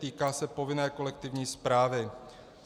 Týká se povinné kolektivní správy.